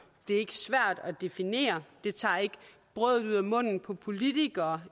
det er ikke svært at definere det tager ikke brødet ud af munden på politikere